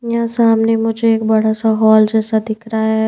यहां सामने मुझे एक बड़ा सा हॉल जैसा दिख रहा है।